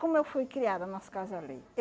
Como eu fui criada nas casa alheia?